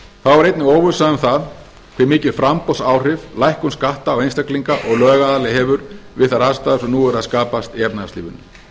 þá er einnig óvissa um það hve mikil framboðsáhrif lækkun skatta á einstaklinga og lögaðila hefur við þær aðstæður sem nú eru að skapast í efnahagslífinu